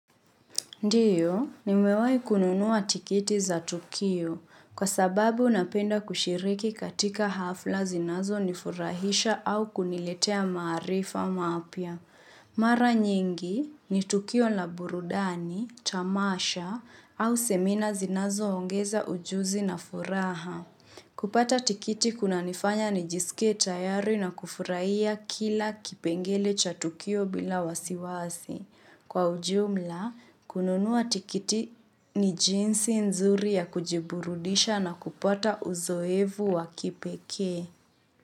Ndiyo, nimewai kununuwa tikiti za Tukio kwa sababu napenda kushiriki katika hafla zinazo nifurahisha au kuniletea maarifa mapya. Mara nyingi ni Tukio la burudani, tamasha au semina zinazoongeza ujuzi na furaha. Kupata tikiti kunanifanya nijisike tayari na kufurahia kila kipengele cha Tukio bila wasiwasi. Kwa ujumla, kununua tikiti ni jinsi nzuri ya kujiburudisha na kupata uzoevu wa kipeke.